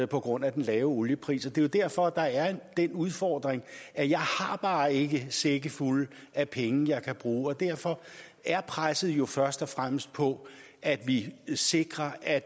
på grund af den lave oliepris det er derfor der er den udfordring at jeg bare ikke har sække fulde af penge jeg kan bruge og derfor er presset jo først og fremmest på at vi sikrer at